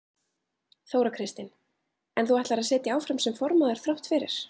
Þóra Kristín: En þú ætlar að sitja áfram sem formaður þrátt fyrir?